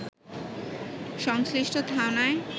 সংশ্লিষ্ট থানায়